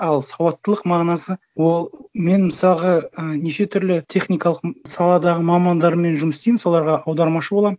ал сауаттылық мағынасы ол мен мысалға і неше түрлі техникалық саладағы мамандармен жұмыс істеймін соларға аудармашы боламын